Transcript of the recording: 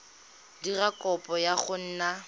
dira kopo ya go nna